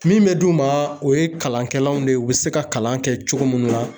Min be d'u ma o ye kalankɛlanw de ye o be se ka kalan kɛ cogo mun na